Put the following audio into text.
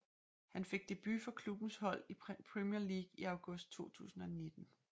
Han fik debut for klubbens hold i Premier League i august 2019